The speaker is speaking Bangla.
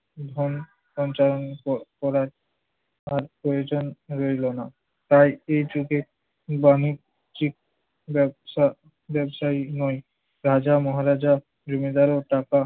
ধন সঞ্চালন ক~ করার আর প্রয়োজন রইল না। তাই এ যুগে বাণিজিক ব্যবসা~ ব্যবসায়ী নয়। রাজা মহারাজা, জমিদার ও টাকা